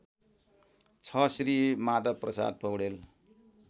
६ Shri Madhavprasad Paudel